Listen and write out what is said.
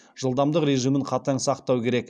жылдамдық режимін қатаң сақтау керек